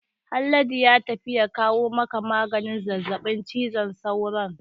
Haladu ya tafi ya kawo maka maganin zazzabin cizon sauron